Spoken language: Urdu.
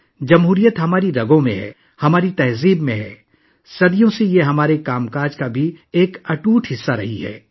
جمہوریت ہماری رگوں میں ہے، یہ ہماری ثقافت میں ہے یہ صدیوں سے ہمارے کام کا اٹوٹ حصہ رہی ہے